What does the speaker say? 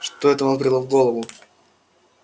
что это вам взбрело в голову